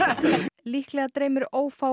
líklega dreymir ófáa